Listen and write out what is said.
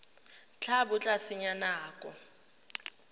tla bo o senya nako